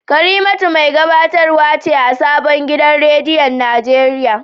Karimatu mai gabatarwa ce a sabon gidan rediyon Najeriya